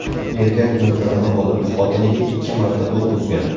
Erkak miltig‘ini olib, xotiniga ikki marta o‘q uzgan.